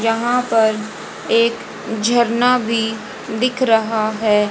यहां पर एक झरना भी दिख रहा है।